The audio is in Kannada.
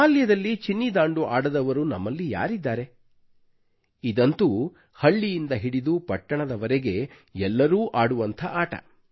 ಬಾಲ್ಯದಲ್ಲಿ ಚಿನ್ನಿ ದಾಂಡು ಆಡದವರು ನಮ್ಮಲ್ಲಿ ಯಾರಿದ್ದಾರೆ ಇದಂತೂ ಹಳ್ಳಿಯಿಂದ ಹಿಡಿದು ಪಟ್ಟಣದವರೆಗೆ ಎಲ್ಲರೂ ಆಡುವಂತಹ ಆಟ